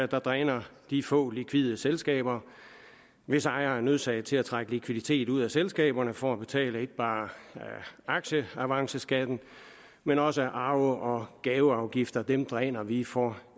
der dræner de få likvide selskaber hvis ejere er nødsaget til at trække likviditet ud af selskaberne for at betale ikke bare aktieavanceskatten men også arve og gaveafgifter dem dræner vi for